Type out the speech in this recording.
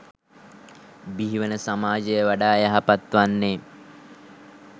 බිහිවන සමාජය වඩා යහපත් වන්නේ.